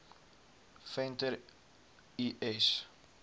venter l s